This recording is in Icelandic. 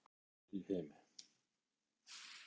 Minnsta jólakort í heimi